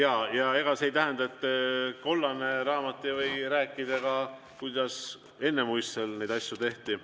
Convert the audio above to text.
Aga ega see ei tähenda, et kollane raamat ei või rääkida ka sellest, kuidas ennemuiste neid asju tehti.